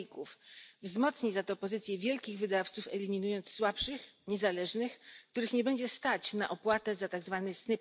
faków, wzmocni za to pozycję wielkich wydawców eliminując słabszych, niezależnych, których nie będzie stać na opłatę za tzw.